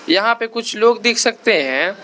यहां पे कुछ लोग दिख सकते हैं।